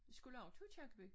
Skulle også til Aakirkeby